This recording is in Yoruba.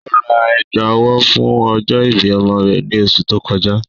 Ó rá ègbá-ọ̀wọ̀ fún ọ̀jọ́-ìbí ọ̀mọ rẹ̀ ní òṣù tó kọjà